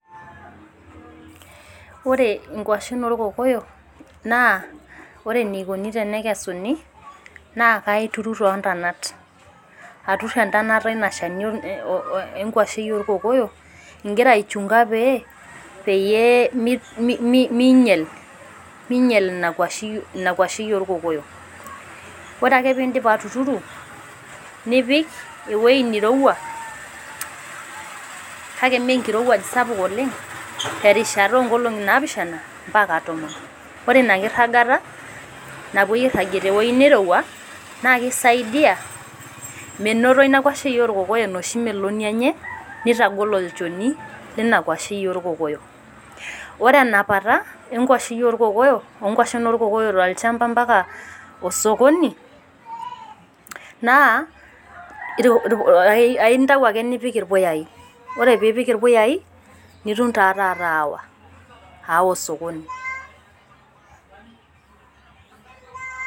Ore inkwashen olkokoyo, naa ore eneikuni pee ekesuni, naa kaituru toontonat. Atur entonata e ilo shoni oo nkwashen oolkokoyo ingira aichunga pee minyal ina kwashei olkokoyo. Ore ake pee indip atuturu, nipik ewueji neiruouwa, kake mee enkirouwaj sapuk oleng', te erishata oo nkolong'i naapishana ompaka tomon. Ore ina kiragata napuoi airagie te ewueji neirouwa, naa keisaidia meinpto ina kwashei olkokoyyo enooshi meloni enye, nneitagol enchoni e ina kwashei olkokoyo. Ore enapata o nkwashei olkokoyo tolchamba ompaka osokoni naa, aintayu ake niipik ilpuyayi, ore pee ipik ilpuyayi, nitum taa taata aawa osokoni.